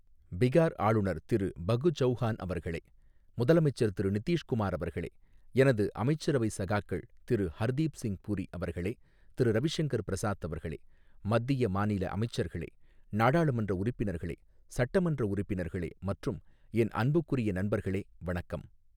பிகார் ஆளுநர் திரு பகு சௌஹான் அவர்களே, முதலமைச்சர் திரு நிதீஷ் குமார் அவர்களே, எனது அமைச்சரவை சகாக்கள் திரு ஹர்தீப் சிங் புரி அவர்களே, திரு ரவி சங்கர் பிரசாத் அவர்களே, மத்திய, மாநில அமைச்சர்களே, நாடாளுமன்ற உறுப்பினர்களே, சட்டமன்ற உறுப்பினர்களே மற்றும் என் அன்புக்குரிய நண்பர்களே, வணக்கம்.